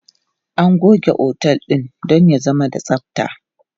Ana goge otel don ya zama da tsabta.